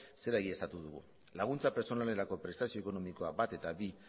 zera baieztatu dugu laguntza pertsonalerako prestazio ekonomikoa bat eta bi